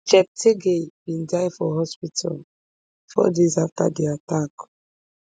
cheptegei bin die for hospital four days afta di attack